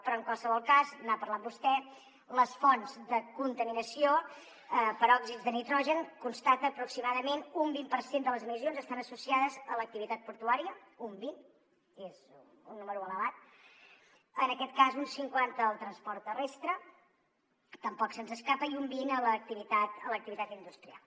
però en qualsevol cas n’ha parlat vostè les fonts de contaminació per òxids de nitrogen constaten que aproximadament un vint per cent de les emissions estan associades a l’activitat portuària un vint que és un número elevat en aquest cas un cinquanta al transport terrestre tampoc se’ns escapa i un vint a l’activitat industrial